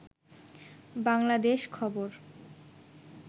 বাংলাদেশ খবর